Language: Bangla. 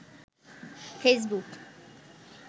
ফেইসবুক